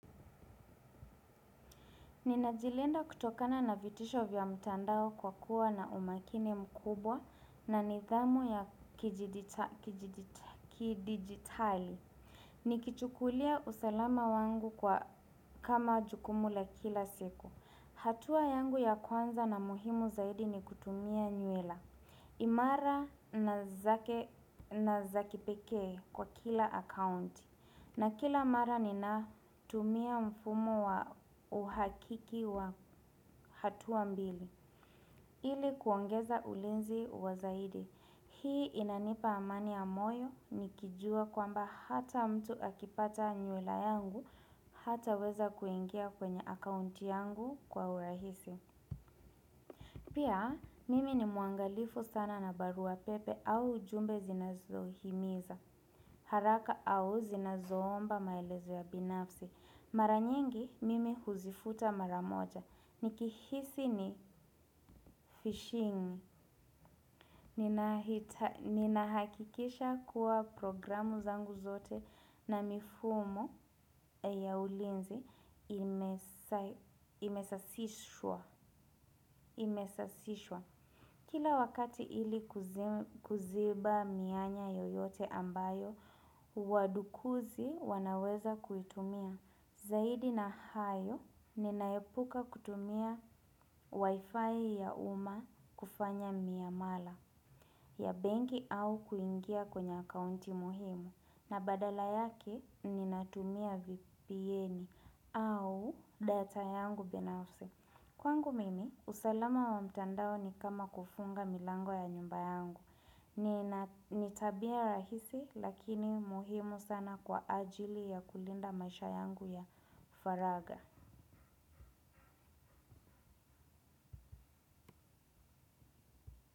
Ninajilinda kutokana na vitisho vya mtandao kwa kuwa na umakini mkubwa na nidhamu ya kidijitali. Nikichukulia usalama wangu kwa, kama jukumu la kila siku. Hatua yangu ya kwanza na muhimu zaidi ni kutumia nywila. Imara na za kipekee kwa kila akaunti. Na kila mara ninatumia mfumo wa uhakiki wa hatua mbili. Ili kuongeza ulinzi wa zaidi. Hii inanipa amani ya moyo nikijuwa kwamba hata mtu akipata nywila yangu hataweza kuingia kwenye akaunti yangu kwa urahisi. Pia mimi ni mwangalifu sana na barua pepe au jumbe zinazohimiza. Haraka au zinazoomba maelezo ya binafsi. Mara nyingi mimi huzifuta mara moja. Nikihisi ni fishing. Ninahakikisha kuwa programu zangu zote na mifumo ya ulinzi imesasishwa. Imesasishwa. Kila wakati ili kuziba mianya yoyote ambayo wadukuzi wanaweza kuitumia. Zaidi na hayo ninaepuka kutumia wifi ya umma kufanya miamala ya benki au kuingia kwenye akaunti muhimu. Na badala yake ninatumia vpn au data yangu binafsi. Kwangu mimi, usalama wa mtandao ni kama kufunga milango ya nyumba yangu. Ni tabia rahisi lakini muhimu sana kwa ajili ya kulinda maisha yangu ya faragha.